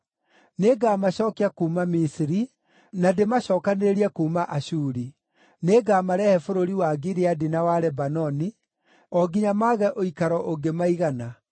Nĩngamacookia kuuma Misiri, na ndĩmacookanĩrĩrie kuuma Ashuri. Nĩngamarehe bũrũri wa Gileadi na wa Lebanoni, o nginya mage ũikaro ũngĩmaigana.